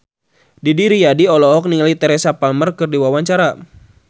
Didi Riyadi olohok ningali Teresa Palmer keur diwawancara